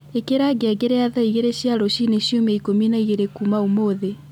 ĩikira ngengere ya thaa igĩrĩ cia rũcinĩ ciumia ikũmi na igĩrĩ kuuma ũmũthĩ